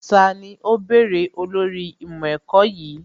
Tani ó bèrè olórí ìmọ̀ ẹ̀kọ́ yìí?